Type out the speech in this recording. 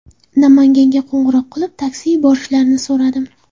Namanganga qo‘ng‘iroq qilib, taksi yuborishlarini so‘radim.